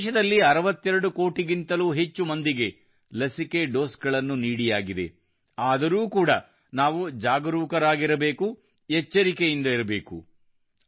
ದೇಶದಲ್ಲಿ 62 ಕೋಟಿಗಿಂತಲೂ ಅಧಿಕ ಮಂದಿಗೆ ಲಸಿಕೆ ಡೋಸ್ ಗಳನ್ನು ನೀಡಿಯಾಗಿದೆ ಆದರೂ ಕೂಡಾ ನಾವು ಜಾಗರೂಕರಾಗಿರಬೇಕು ಎಚ್ಚರಿಕೆಯಿಂದ ಇರಬೇಕು